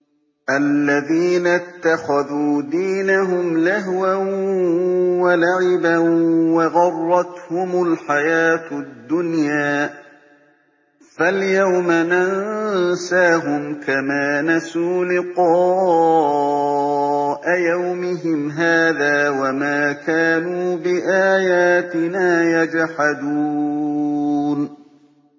الَّذِينَ اتَّخَذُوا دِينَهُمْ لَهْوًا وَلَعِبًا وَغَرَّتْهُمُ الْحَيَاةُ الدُّنْيَا ۚ فَالْيَوْمَ نَنسَاهُمْ كَمَا نَسُوا لِقَاءَ يَوْمِهِمْ هَٰذَا وَمَا كَانُوا بِآيَاتِنَا يَجْحَدُونَ